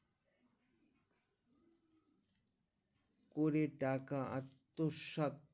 করে টাকা আত্মসাৎ